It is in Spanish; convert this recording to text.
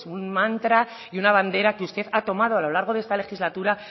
pues un mantra y una bandera que usted ha tomado a lo largo de esta legislatura